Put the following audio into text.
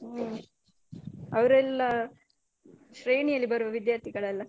ಹ್ಮ್ ಅವರೆಲ್ಲ ಶ್ರೇಣಿಯಲ್ಲಿ ಬರುವ ವಿದ್ಯಾಥಿಗಳಲ್ಲ.